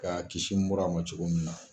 K'a kiisi mura a ma cogo min na.